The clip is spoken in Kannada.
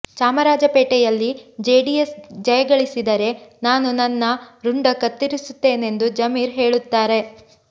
ಚಾಮರಾಜಪೇಟೆಯಲ್ಲಿ ಜೆಡಿಎಸ್ ಜಯಗಳಿಸಿದರೆ ನಾನು ನನ್ನ ರುಂಡ ಕತ್ತರಿಸುತ್ತೇನೆಂದು ಜಮೀರ್ ಹೇಳುತ್ತಾರೆ